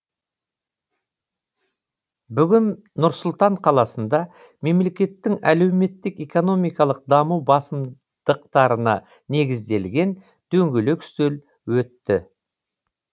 бүгін нұр сұлтан қаласында мемлекеттің әлеуметтік экономикалық даму басымдықтарына негізделген дөңгелек үстел өтті